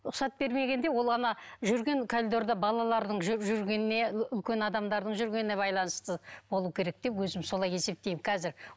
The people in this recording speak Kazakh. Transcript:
рұқсат бермегенде ол ана жүрген коридорда балалардың жүргеніне үлкен адамдардың жүргеніне байланысты болу керек деп өзім солай есептеймін қазір